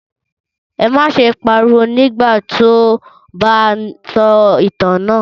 Ẹ má ṣe pariwo nígbà tí ó bá ń sọ ìtàn náà!